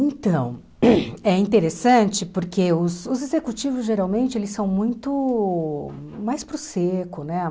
Então, hum é interessante porque os os executivos, geralmente, eles são muito mais para o seco, né?